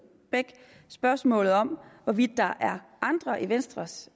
bech spørgsmålet om hvorvidt der er andre i venstres